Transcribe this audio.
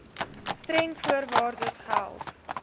streng voorwaardes geld